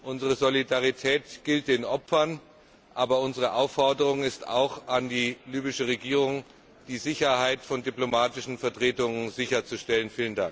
Unsere Solidarität gilt den Opfern, aber unsere Aufforderung ist auch an die libysche Regierung, die Sicherheit von diplomatischen Vertretungen sicherzustellen!